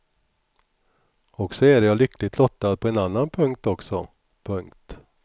Och så är jag lyckligt lottad på en annan punkt också. punkt